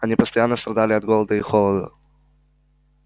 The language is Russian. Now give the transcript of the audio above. они постоянно страдали от голода и холода